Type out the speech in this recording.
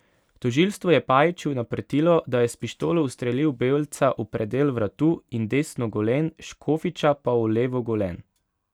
Tožilstvo je Pajiću naprtilo, da je s pištolo ustrelil Belca v predel vratu in desno golen, Škofiča pa v levo golen.